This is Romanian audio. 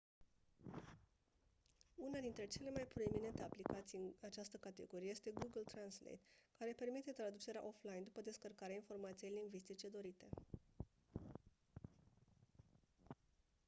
una dintre cele mai proeminente aplicații în această categorie este google translate care permite traducerea offline după descărcarea informației lingvistice dorite